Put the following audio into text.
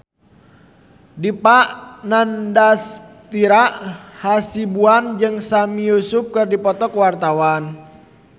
Dipa Nandastyra Hasibuan jeung Sami Yusuf keur dipoto ku wartawan